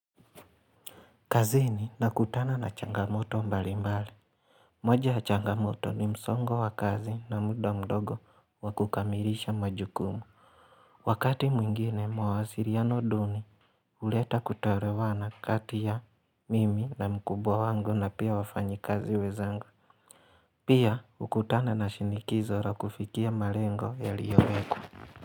Kazini nakutana na changamoto mbalimbali. Moja ya changamoto ni msongo wa kazi na muda mdogo wa kukamilisha majukumu. Wakati mwingine mawasiliano duni, huleta kutoelewana kati ya mimi na mkubwa wangu na pia wafanyikazi wenzangu. Pia hukutana na shinikizo la kufikia malengo yaliyowekwa.